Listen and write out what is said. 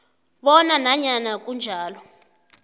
bona nanyana kunjalo